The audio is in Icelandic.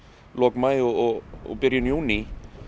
lok maí og og byrjun júní